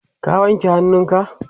ka wanke hannunka?